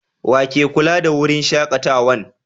Wa ke kulla da wurin shakatawan?